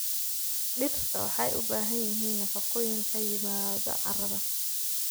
Dhirta waxay u baahan yihiin nafaqooyin ka yimaada carrada.